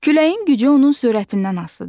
Küləyin gücü onun sürətindən asılıdır.